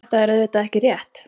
Þetta er auðvitað ekki rétt.